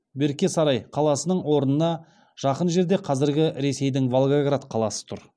берке сарай қаласының орнына жақын жерде қазіргі ресейдің волгоград қаласы тұр